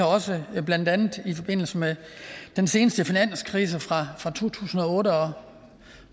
også blandt andet i forbindelse med den seneste finanskrise fra to tusind og otte og